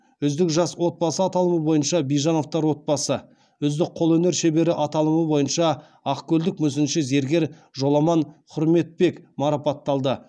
үздік жас отбасы аталмыш бойынша бижановтар отбасы үздік қолөнер шебері аталымы бойынша ақкөлдік мүсінші зергер жоламан хүрметбек марапатталды